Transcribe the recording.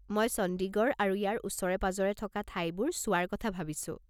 মই চণ্ডীগড় আৰু ইয়াৰ ওচৰে-পাঁজৰে থকা ঠাইবোৰ চোৱাৰ কথা ভাবিছোঁ।